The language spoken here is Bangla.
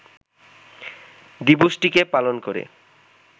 দিবসটিকে পালন করে